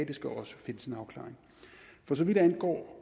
det skal også finde sin afklaring for så vidt angår